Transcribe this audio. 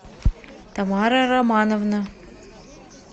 тамара романовна